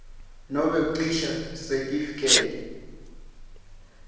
nobe kucisha sitifiketi